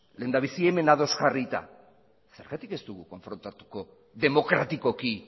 lehendabizi hemen ados jarrita zergatik ez dugu konfrontatuko demokratikoki